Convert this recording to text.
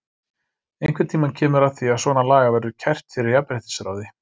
Einhvern tímann kemur að því að svona lagað verður kært fyrir jafnréttisráði.